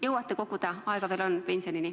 Jõuate koguda, pensionini aega veel on!